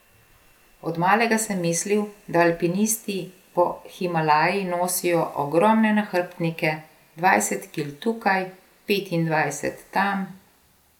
Od malega sem mislil, da alpinisti po Himalaji nosijo ogromne nahrbtnike, dvajset kil tukaj, petindvajset tam ...